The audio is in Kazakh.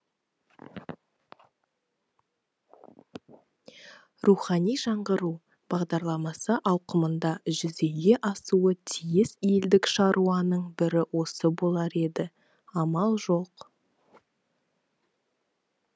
рухани жаңғыру бағдарламасы ауқымында жүзеге асуы тиіс елдік шаруаның бірі осы болар еді амал жоқ